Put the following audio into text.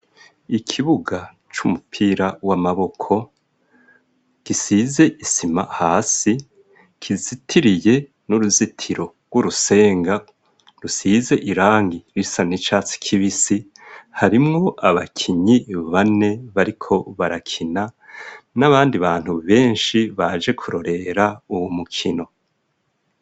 Ikibuga c'umupira w'amaboko gisize isima hasi, kizitiriye n'uruzitiro rw'urusenga rusize irangi risa n'icatsi kibisi ,harimwo abakinyi bane bariko barakina n'abandi bantu benshi baje kurorera uwo mukino.